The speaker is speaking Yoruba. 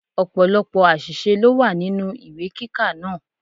Ọ̀pọ̀lọ́pọ̀ àṣìṣe ló wà nínú ìwé kíkà náà.